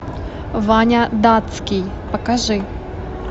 ваня датский покажи